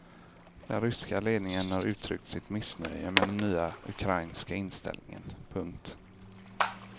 Den ryska ledningen har uttryckt sitt missnöje med den nya ukrainska inställningen. punkt